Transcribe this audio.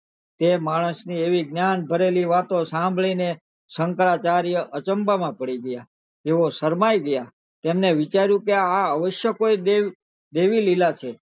તે માણસ ને આવી જ્ઞાન ભરેલી વાતો સાંભળી ને શંકરાચાર્ય અચંભા માં પડી ગયા તેઓ શરમાઈ ગયા અને વિચાર્યું કે આ અવશ્ય કોઈ દેવ દેવી લીલા છે